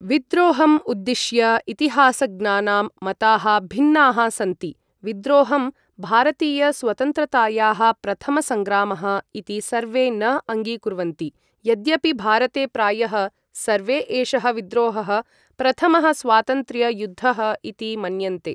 विद्रोहम् उद्दिश्य इतिहासज्ञानां मताः भिन्नाः सन्तिे, विद्रोहं, भारतीय स्वतन्त्रतायाः प्रथमसङ्ग्रामः इति सर्वे न अङ्गीकुर्वन्ति, यद्यपि भारते प्रायः सर्वे एषः विद्रोहः, प्रथमः स्वातन्त्र्य यु्द्धः इति मन्यन्ते।